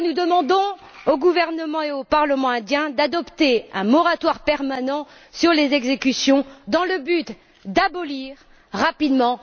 C'est pourquoi nous demandons au gouvernement et au parlement indiens d'adopter un moratoire permanent sur les exécutions dans le but d'abolir rapidement la peine de mort.